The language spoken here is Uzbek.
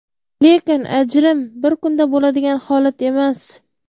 Lekin ajrim bir kunda bo‘ladigan holat emas.